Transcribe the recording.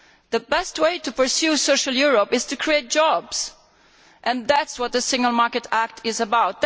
The best way to pursue social Europe is to create jobs and that is what the Single Market Act is about.